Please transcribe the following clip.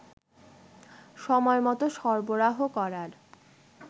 সময়মত সরবরাহ করার